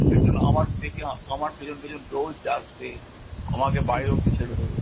সেই জন্য আমার দেখি আমার পেছন পেছন রোজ আসবে, আমাকে বাইরে অবধি ছেড়ে দেবে।